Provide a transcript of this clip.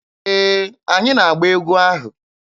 Ee, anyị na-agba egwu ahụ.